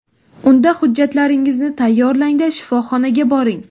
Unda hujjatlaringizni tayyorlang-da, shifoxonaga boring.